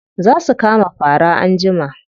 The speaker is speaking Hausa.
Za su kama fara anjima.